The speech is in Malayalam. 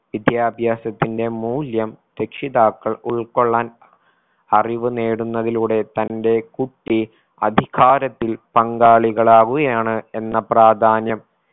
വിദ്യാഭ്യാസത്തിന്റെ മൂല്യം രക്ഷിതാക്കൾ ഉൾകൊള്ളാൻ അറിവ് നേടുന്നതിലൂടെ തന്റെ കുട്ടി അധികാരത്തിൽ പങ്കാളികളാവുകയാണ് എന്ന പ്രാധാന്യം